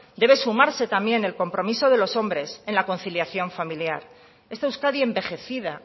debe sumarse también el compromiso de los hombres de la conciliación familiar esta euskadi envejecida